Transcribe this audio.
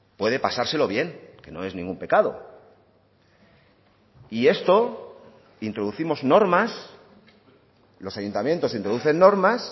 puede pasárselo bien que no es ningún pecado y esto introducimos normas los ayuntamientos introducen normas